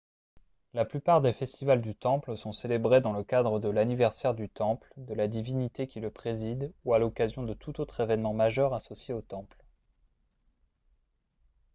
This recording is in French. la plupart des festivals du temple sont célébrés dans le cadre de l'anniversaire du temple de la divinité qui le préside ou à l'occasion de tout autre événement majeur associé au temple